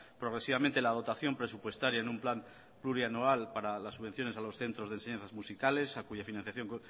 progresivamente la dotación presupuestaria en un plan plurianual para las subvenciones a los centros de enseñanzas musicales a cuya financiación